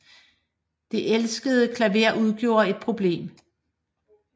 Det elskede klaver udgjorde et problem